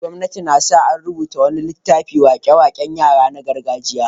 Gwamnati na sa an rubuta wani littafin wake-waken yara na gargajiya.